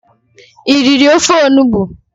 i riri ofe Onugbu?